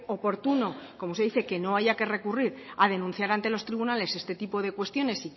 oportuno como usted dice que no haya que recurrir a denunciar ante los tribunales este tipo de cuestiones